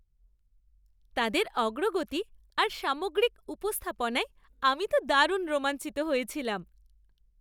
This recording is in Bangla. তাদের অগ্রগতি আর সামগ্রিক উপস্থাপনায় আমি তো দারুণ রোমাঞ্চিত হয়েছিলাম।